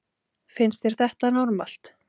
Finnst þér þetta normalt!